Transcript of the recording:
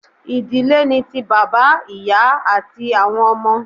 Idile ni ti baba, iya ati awọn ọmọ